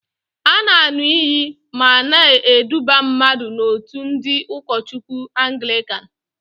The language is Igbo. A na-an̄ụ iyi ma a na-eduba mmadụ n'òtù ndị ụkọchukwu Angịkan.